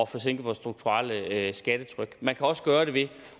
få sænket vores strukturelle skattetryk man kan også gøre det ved